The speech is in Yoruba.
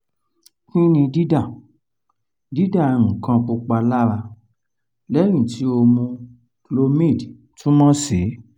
kí ni dida dida nkan pupa lara lẹyin ti o mu clomid túmọ̀ sí?